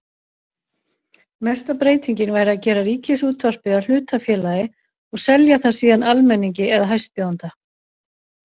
Mesta breytingin væri að gera Ríkisútvarpið að hlutafélagi og selja það síðan almenningi eða hæstbjóðanda.